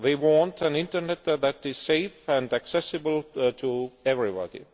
They want an internet that is safe and accessible to everybody.